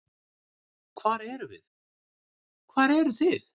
Hver erum við, hver eru þið?